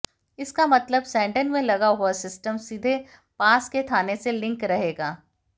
इसका मतलब सैंडल में लगा पूरा सिस्टम सीधे पास के थाने से लिंक रहेगा